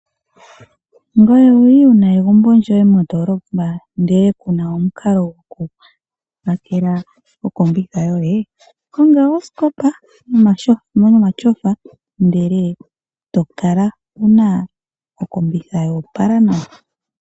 Ngoye owu li wu na egumbo lyoye mondoolopa ndele ku na omukalo gokupakela okombitha yoye? Konga osikopa nomatyofa, ndele e to kala wu na okombitha ya opala nawa.